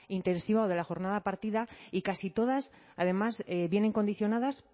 intensiva o de la jornada partida y casi todas además vienen condicionadas